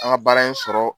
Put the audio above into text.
An ka baara in sɔrɔ